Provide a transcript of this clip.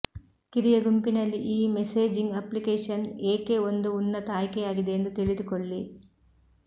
ಕಿರಿಯ ಗುಂಪಿನಲ್ಲಿ ಈ ಮೆಸೇಜಿಂಗ್ ಅಪ್ಲಿಕೇಶನ್ ಏಕೆ ಒಂದು ಉನ್ನತ ಆಯ್ಕೆಯಾಗಿದೆ ಎಂದು ತಿಳಿದುಕೊಳ್ಳಿ